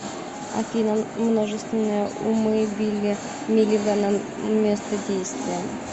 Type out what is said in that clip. афина множественные умы билли миллигана место действия